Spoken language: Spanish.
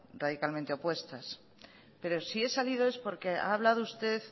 radicalmente opuestas pero si he salido es porque ha hablado usted